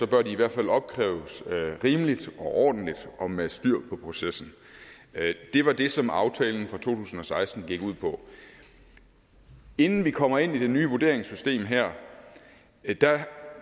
bør de i hvert fald opkræves rimeligt og ordentligt og med styr på processen det var det som aftalen for to tusind og seksten gik ud på inden vi kommer ind i det nye vurderingssystem her